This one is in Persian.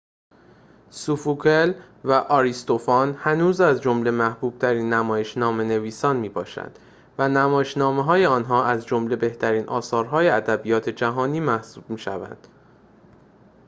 سوفوکل و آریستوفان هنوز از جمله محبوب‌ترین نمایش‌نامه‌نویسان می‌باشند و نمایش‌نامه‌های آنها از جمله بهترین اثرهای ادبیات جهانی محسوب می‌شوند